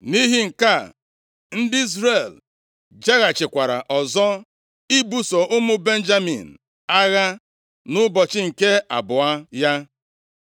Nʼihi nke a, ndị Izrel jeghachikwara ọzọ ibuso ụmụ Benjamin agha nʼụbọchị nke abụọ ya.